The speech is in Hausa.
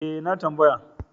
E, na tambaya.